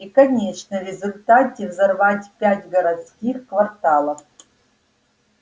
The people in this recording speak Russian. и конечно в результате взорвать пять городских кварталов